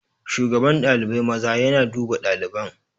Shugaban ɗalibai maza yana duba ɗaliban.